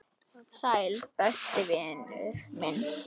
Sæll, besti vinur minn.